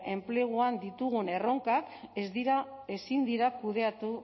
enpleguan ditugun erronkak ez dira ezin dira kudeatu